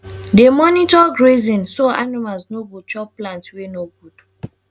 dey monitor grazing so animals no go chop plants wey no good